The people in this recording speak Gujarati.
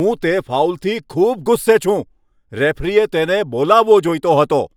હું તે ફાઉલથી ખૂબ ગુસ્સે છું! રેફરીએ તેને બોલાવવો જોઈતો હતો.